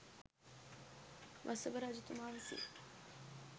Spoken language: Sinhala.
වසභ රජතුමා විසින්